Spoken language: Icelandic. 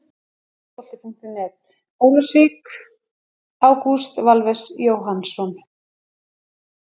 Fótbolti.net, Ólafsvík- Ágúst Valves Jóhannsson.